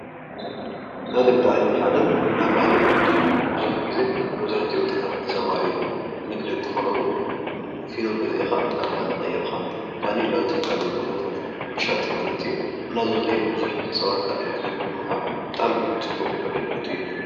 ናይ ንግዲ ዓይነት ሓደ ናይ ባኒ ንግዲ እዩ፡፡ ብዙሕ ጊዜ መብዛሕትኡ ወጣታት ዝተሰማረየሉ ንግዲ እንተኾነ እውን ፊኖ ገዚእኻ ናብ ባኒ ቀይርካ ባኒ ናብ ዝተፈላለዩ ቦታታት ምሻጥ ማለት እዩ፡፡ እና ንብዙሕ ሰባት ኣገልግሎት ብምሃብ ብጣዕሚ ፅቡቕ ኣገልግሎት እዩ ልህብ፡፡